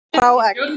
Hrá egg.